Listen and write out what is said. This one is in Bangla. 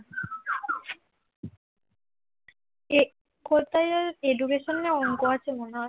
কোথায় ওই education না অংক আছে মনে হয়